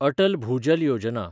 अटल भुजल योजना